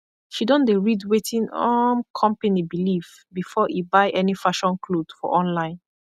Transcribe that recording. she don dey rid wetin um kompany bilif bifor e buy any fashion kloth for online